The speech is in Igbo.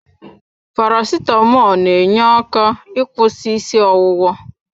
Paracetamọl n'enye aka ịkwụsị isi ọwụwa.